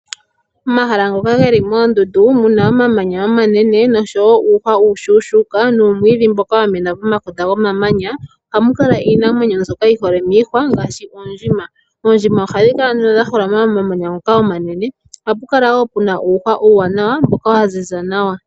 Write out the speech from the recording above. Omahala ngoka geli moondundu muna omamanya omanene noshowo uuhwa uushuushuuka nuumwiidhi mboka wamena pomakota gomamanya ,ohamu kala iinamwenyo mbyoka yihole miihwa ngaashi oondjima, oondjima ohadhikala nduno dhaholama momamanya ngoka omanene oha pu kala wo puna uuhwa uuwanawa mboka waziza nawa.